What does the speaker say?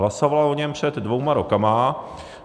Hlasovala o něm před dvěma roky.